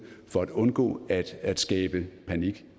for at undgå at skabe panik